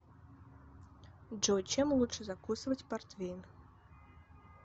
джой чем лучше закусывать портвейн